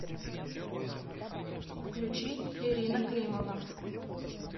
включи ирина климова